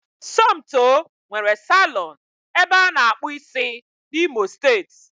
Somtoo nwere salọ̀ọ̀n ebe ana akpụ ịsị n'imo steeti